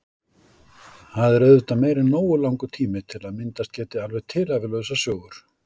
Það er auðvitað meira en nógu langur tími til að myndast geti alveg tilhæfulausar sögur.